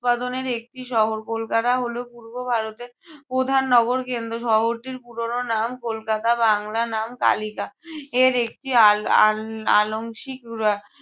উৎপাদনের একটি শহর। কলকাতা হলো পূর্ব ভারতের প্রধান নগর কেন্দ্র। শহরটির পুরোনো নাম কলকাতা বাংলা নাম কালিকা। আহ এর একটি